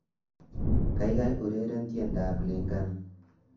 Kaikai ureren tiendoab Lingana